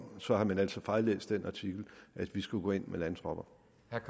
så har man altså fejllæst den artikel at vi skulle gå ind med landtropper